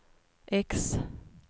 X